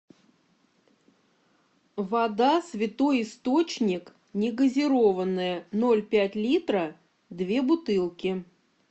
вода святой источник негазированная ноль пять литра две бутылки